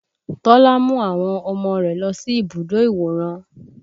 Tọ́lá mú àwọn ọmọ rẹ̀ lọ sí ibùdó ìwòran